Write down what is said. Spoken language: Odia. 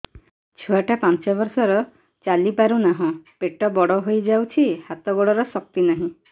ଛୁଆଟା ପାଞ୍ଚ ବର୍ଷର ଚାଲି ପାରୁନାହଁ ପେଟ ବଡ ହୋଇ ଯାଉଛି ହାତ ଗୋଡ଼ର ଶକ୍ତି ନାହିଁ